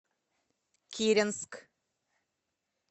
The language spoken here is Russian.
киренск